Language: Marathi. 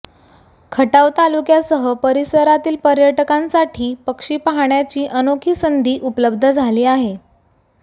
खटाव तालुक्यासह परिसरातील पर्यटकांसाठी पक्षी पाहण्याची अनोखी संधी उपलब्ध झाली आहे